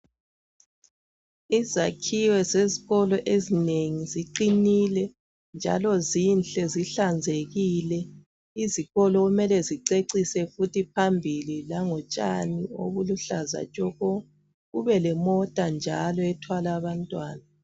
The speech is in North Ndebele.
Izakhiwo zesikolo ezinengi ziqinile njalo zinhle zihlanzekile izikolo kumele zicecise futhi phambili lango tshani obuluhlaza tshoko kubelemota njalo ethwala abantwana.